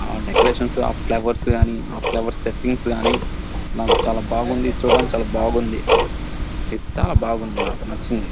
ఆ డెకరేషన్స్ ఆ ఫ్లవర్స్ ఆ ఫ్లవర్స్ సెట్టింగ్స్ కానీ నాకు చాలా బాగుంది చూడడానికి చాలా బాగుంది ఇది చాలా బాగుంది నాకు నచ్చింది.